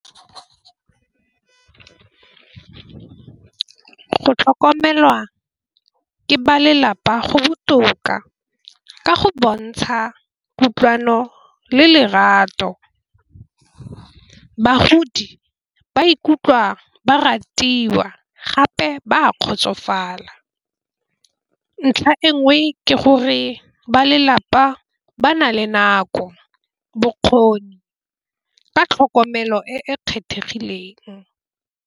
Go tlhokomelwa ke ba lelapa go botoka ka go bontsha kutlwano le lerato. Bagodi ba ikutlwa ba ratiwa gape ba kgotsofala, ntlha engwe ke gore ba lelapa ba na le nako bokgoni ka tlhokomelo e e kgethegileng.